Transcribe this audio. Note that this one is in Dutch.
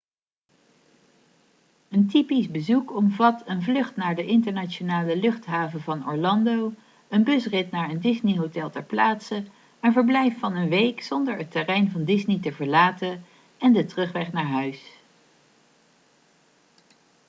een typisch' bezoek omvat een vlucht naar de internationale luchthaven van orlando een busrit naar een disney-hotel ter plaatse een verblijf van een week zonder het terrein van disney te verlaten en de terugweg naar huis